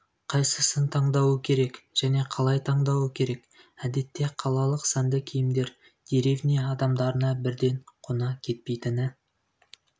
қайсысын таңдауы керек және қалай таңдауы керек әдетте қалалық сәнді киімдер деревня адамдарына бірден қона кетпейтіні